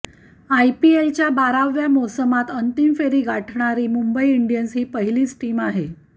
आयपीएलच्या बाराव्या मोसमात अंतिम फेरी गाठणारी मुंबई इंडियन्स ही पहिलीच टीम आहे